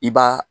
I b'a